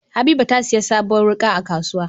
Habiba tasiya sabuwar wuka a kasuwa